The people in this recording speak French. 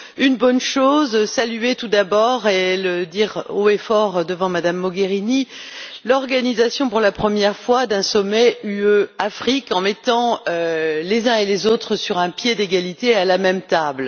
Une bonne chose, saluons tout d'abord et disons le haut et fort devant Mme Mogherini l'organisation pour la première fois d'un sommet UE Afrique, en mettant les uns et les autres, sur un pied d'égalité, à la même table.